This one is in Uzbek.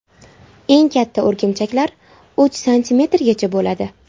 Eng katta o‘rgimchaklar uch santimetrgacha bo‘ladi.